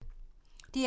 DR2